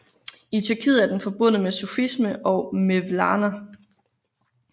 I Tyrkiet er den forbundet med sufisme og Mevlana